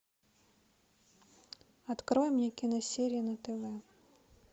открой мне киносерии на тв